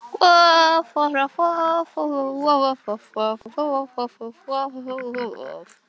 Það er bannað að ónáða fólk sem er að vinna.